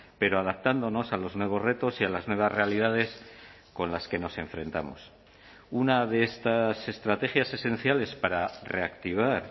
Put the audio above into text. pero adaptándonos a los nuevos retos y a las nuevas realidades con las que nos enfrentamos una de estas estrategias esenciales para reactivar